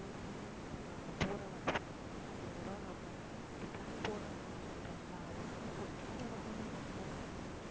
room உ அப்புறம் அங்க போற வர செலவுக்கு ஐயாயிரம் நம்ம அங்க plan போடுறாங்கன்னு சொல்றோம்ல அவங்க கையில குடுத்துட்டா okay